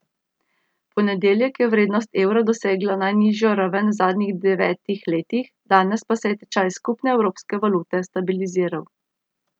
V ponedeljek je vrednost evra dosegla najnižjo raven v zadnjih devetih letih, danes pa se je tečaj skupne evropske valute stabiliziral.